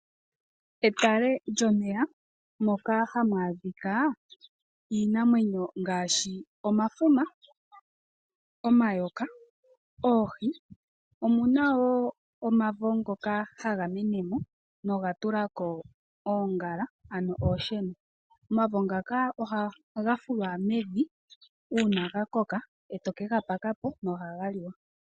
Etale lyomeya moka hamu adhika iinamwenyo ngaashi omafuma, omayoka noohi. Omu na wo omavo ngoka haga mene mo noga tula ko oongala, ano oonsheno. Omavo ngaka ohaga fulwa mevi uuna ga koka e to ke ga paka po nohaga liwa.